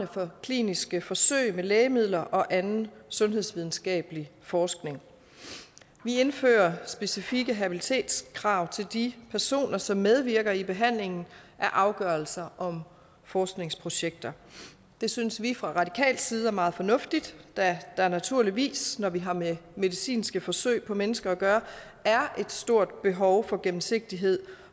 for kliniske forsøg med lægemidler og anden sundhedsvidenskabelig forskning vi indfører specifikke habilitetskrav til de personer som medvirker i behandlingen af afgørelser om forskningsprojekter det synes vi fra radikal side er meget fornuftigt da der naturligvis når vi har med medicinske forsøg på mennesker at gøre er et stort behov for gennemsigtighed